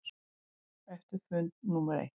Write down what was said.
Eftir fund númer eitt.